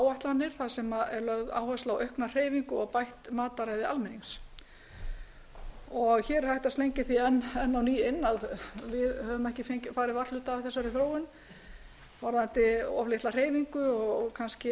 þar sem er lögð áhersla á aukna hreyfingu og bætt matarræði almennings hér er hægt að slengja því enn á ný inn að við höfum ekki farið varhluta af þessari þróun varðandi of litla hreyfingu og kannski